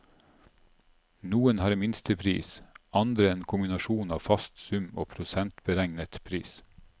Noen har minstepris, andre en kombinasjon av en fast sum og prosentberegnet pris.